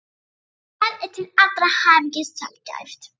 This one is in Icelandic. Það er til allrar hamingju sjaldgæft.